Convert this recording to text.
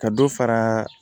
Ka dɔ fara